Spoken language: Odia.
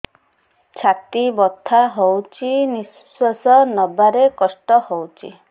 ଛାତି ବଥା ହଉଚି ନିଶ୍ୱାସ ନେବାରେ କଷ୍ଟ ହଉଚି